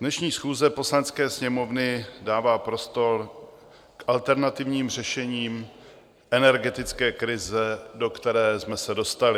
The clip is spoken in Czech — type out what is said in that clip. Dnešní schůze Poslanecké sněmovny dává prostor k alternativním řešením energetické krize, do které jsme se dostali.